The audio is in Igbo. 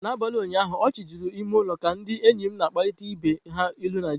N'abalị ụnyaahụ, ọchị juru n'ime ụlọ ka ndị enyi m na-agbarịta ibe ha ilu Naijiria.